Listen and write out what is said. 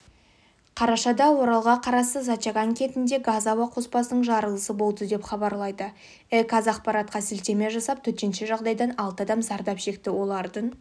қарашада оралға қарасты зачаган кентінде газ-ауа қоспасының жарылысы болды деп хабарлайды іқазақпаратқа сілтеме жасап төтенше жағдайдан алты адам зардап шекті олардың